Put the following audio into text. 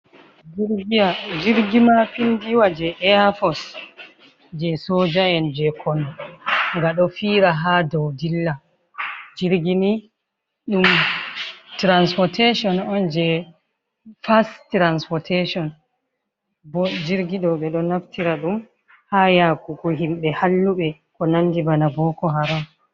Jirgi maa pindiwa je Eyafos je soja'en je konu. Nga ɗo fiira haa dow dilla. Jirgi mai ɗum transportetion on je fast transportetion bo jirgi ɗo, ɓe ɗo naftira ɗum haa yaakugo himɓe halluɓe ko nandi bana boko haram.